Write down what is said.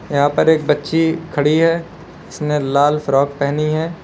यहां पर एक बच्ची खड़ी है इसने लाल फ्रॉक पहनी है।